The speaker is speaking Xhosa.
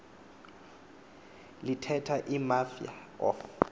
lithetha imafia of